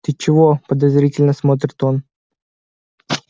ты чего подозрительно смотрит он